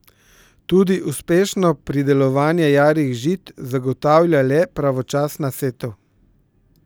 Tudi uspešno pridelovanje jarih žit zagotavlja le pravočasna setev.